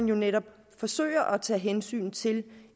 jo netop forsøger at tage hensyn til